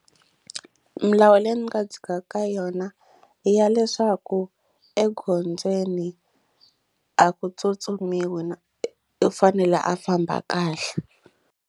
Milawu leyi ndzi nga dzhikaka ka yona ya leswaku egondzweni a ku tsutsumiwi u fanele a famba kahle.